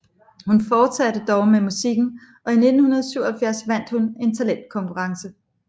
Hun fortsatte dog med musikken og i 1977 vandt hun en talentkonkurrence